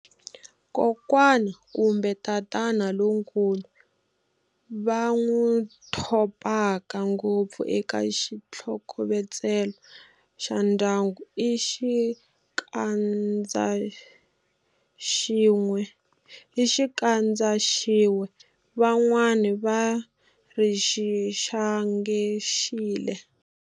Kokwani kumbe tatana lonkulu va n'wu thopaka ngopfu eka xitlhokovetselo xa ndyangu i Xikandzaxive, van'wani va ri Xixangaxile.